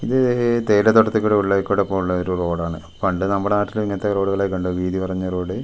ഇത് തേയില തോട്ടത്തി കൂടെ ഉള്ളേക്കൂടെ പോണ ഒരു റോഡാണ് പണ്ട് നമ്മടെ നാട്ടിലും ഇങ്ങനത്തെ റോഡു കളക്കെണ്ട് വീതി കുറഞ്ഞ റോഡ് .